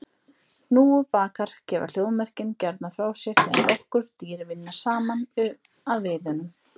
Hnúfubakar gefa hljóðmerkin gjarnan frá sér þegar nokkur dýr vinna saman að veiðunum.